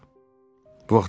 Bu vaxtı kim idi?